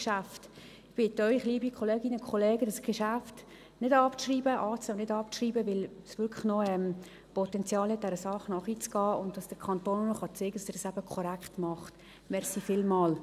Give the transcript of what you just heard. Ich bitte Sie, liebe Kolleginnen und Kollegen, dieses Geschäft nicht abzuschreiben, anzunehmen und nicht abzuschreiben, weil es wirklich noch Potenzial gäbe, dieser Sache nachzugehen, und der Kanton noch zeigen kann, dass er es eben korrekt macht.